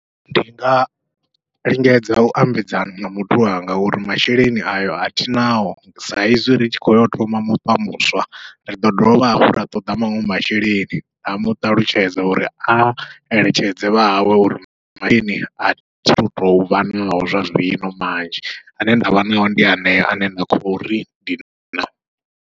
Ndi nga lingedza u ambedzana na muthu wanga uri masheleni ayo athinao, sa izwi ri tshi khou yo thoma muṱa muswa riḓo dovha hafhu ra ṱoḓa maṅwe masheleni. Ndi nga muṱalutshedza uri a eletshedze vhahawe uri masheleni athi tu tovha naho zwa zwino manzhi, ane ndavha nao ndi hanea ane nda khou ri ndi nao.